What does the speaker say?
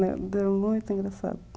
Muito engraçado.